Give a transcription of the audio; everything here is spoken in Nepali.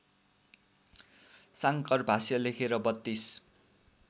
शाङ्करभाष्य लेखे र बत्तीस